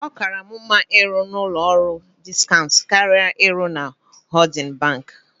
Ọ kaara mụ mma ịrụ n'ụlọ ọrụ diskaunt karịa ịrụ na hoodin banki.